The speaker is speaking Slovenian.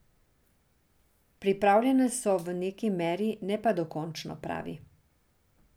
Pripravljene so v neki meri, ne pa dokončno, pravi.